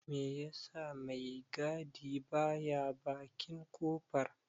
Me ya sa mai gadi ba ya bakin kofar?